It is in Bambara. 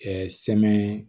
sɛmɛni